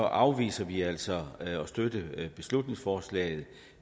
afviser vi altså at støtte beslutningsforslaget